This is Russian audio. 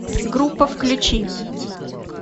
группа включи